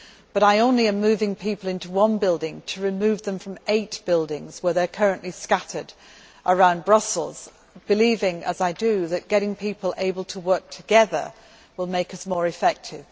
However, I am only moving people into one building to remove them from eight buildings where they are currently scattered around Brussels, believing as I do that enabling people to work together will make us more effective.